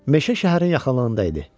Meşə şəhərin yaxınlığında idi.